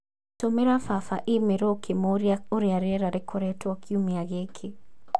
Tũmĩra baba i-mīrū ũkĩmũũria ũrĩa rĩera rĩkoretwo kiumia gĩkĩ